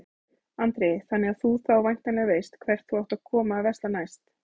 Andri: Þannig að þú þá væntanlega veist hvert þú átt að koma að versla næst?